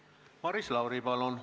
Maris Lauri, palun!